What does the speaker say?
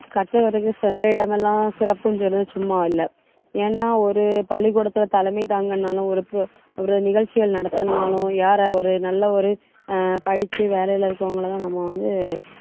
கற்றவருக்கு சென்ற இடமெல்லாம் சிறப்புன்னு சொல்லி சும்மா இல்லை. ஏன்னா, ஒரு பள்ளிக்கூடத்திலே தலைமை தாங்கணும்னாலும், ஒரு ஒரு நிகழ்ச்சிகள் நடத்தணும்னாலும் யார ஒரு நல்ல ஒரு அஹ் படிச்சு வேலையிலே இருக்கிறவங்களைத்தான் நம்ம வந்து